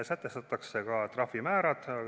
Sätestatakse ka trahvimäärad.